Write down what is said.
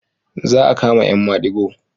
Za a kama 'yan madigo.